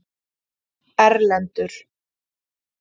Erlendur